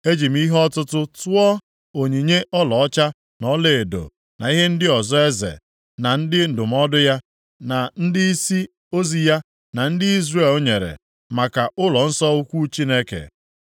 Eji m ihe ọtụtụ tụọ onyinye ọlaọcha na ọlaedo na ihe ndị ọzọ eze, na ndị ndụmọdụ ya, na ndịisi ozi ya, na ndị Izrel nyere maka ụlọnsọ ukwu Chineke.